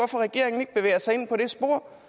jeg sig ind på det spor